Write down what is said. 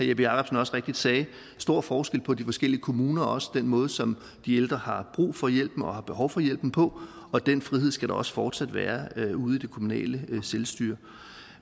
jeppe jakobsen også rigtigt sagde stor forskel på de forskellige kommuner og også den måde som de ældre har brug for hjælpen og har behov for hjælpen på og den frihed skal der også fortsat være ude i det kommunale selvstyre